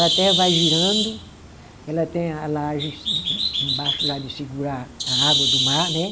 A Terra vai girando, ela tem a laje embaixo lá de segurar a água do mar, né?